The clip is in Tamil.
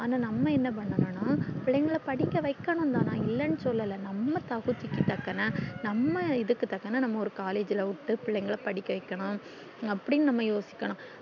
ஆனா நம்ம என்ன பன்னன்னுனா பிள்ளைகள படிக்க வைக்கணும் தான் நான் இல்லன்னு சொல்லல நம்ம தகுதிக்கு தக்குன நம்ம இதுக்கு தக்குன நம்ம ஒரு collage ல விட்டு பிள்ளைகள படிக்கச் வைக்கணும் அப்டின்னு நம்ப யோசிக்கணும்